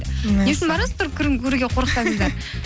несін барасыздар көруге қорықсаңдар